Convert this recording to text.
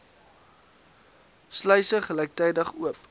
sluise gelyktydig oop